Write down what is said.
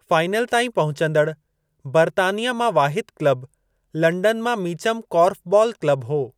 Final ताईं पहचंदड़ बर्तानिया मां वाहिदु क्लब लंडन मां मीचम कॉर्फ़बॉल क्लब हो।